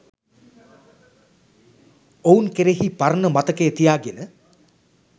ඔවුන් කෙරෙහි පරණ මතකය තියාගෙන